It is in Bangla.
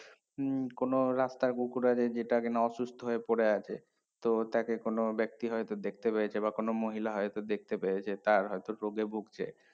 হম কোনো রাস্তার কুকুর আছে যেটা কিনা অসুস্থ হয়ে পরে আছে তো তাকে কোনো ব্যক্তি হয়তো দেখতে পেয়েছে বা কোনো মহিলা হয়তো দেখতে পেয়েছে তার হয়তো রোগে ভুগছে